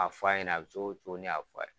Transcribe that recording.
A fɔ a ɲɛna. A bi cogo cogo ne y'a fɔ'a ye.